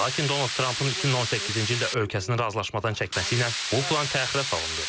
Lakin Donald Trampın 2018-ci ildə ölkəsinin razılaşmadan çəkməsi ilə bu plan təxirə salındı.